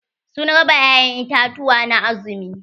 Sun raba ya'ƴan itatuwa na azumi.